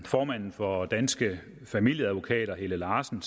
formanden for danske familieadvokater helle larsen